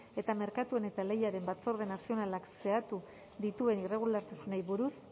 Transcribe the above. eta merkatuen eta lehiaren batzorde nazionalak zehatu dituen irregulartasunei buruz